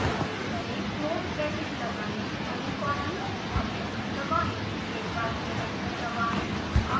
close bracket लगाएं semicolon और enter दबाएं एक बार फिर एंटर दबाएं